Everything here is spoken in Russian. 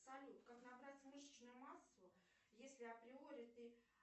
салют как набрать мышечную массу если априори ты